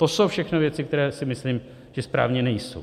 To jsou všechno věci, které si myslím, že správně nejsou.